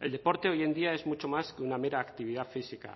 el deporte hoy en día es mucho más que una mera actividad física